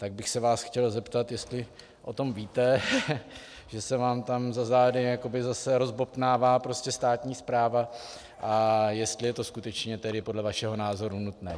Tak bych se vás chtěl zeptat, jestli o tom víte, že se vám tam za zády jakoby zase rozbobtnává prostě státní správa, a jestli je to skutečně tedy podle vašeho názoru nutné.